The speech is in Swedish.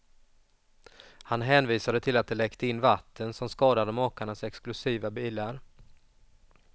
Han hänvisade till att det läckte in vatten som skadade makarnas exklusiva bilar.